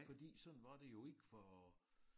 Fordi sådan var det jo ikke for